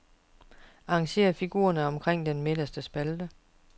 Arrangér figurerne omkring den midterste spalte.